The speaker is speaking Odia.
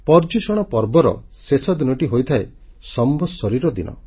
ପର୍ଯୂ୍ୟଷଣ ପର୍ବର ଶେଷ ଦିନଟି ହୋଇଥାଏ ସମ୍ବତ୍ସରୀର ଦିନ